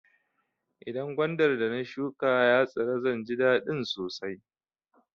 Idan gwandar da na shuƙa ya tsira zan ji dadin sosai.